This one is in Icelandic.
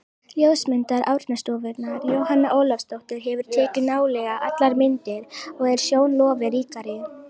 Ljósmyndari Árnastofnunar, Jóhanna Ólafsdóttir, hefur tekið nálega allar myndir, og er sjón lofi ríkari.